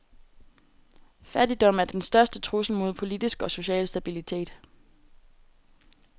Fattigdom er den største trussel mod politisk og social stabilitet.